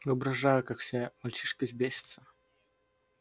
воображаю как всё мальчишки взбесятся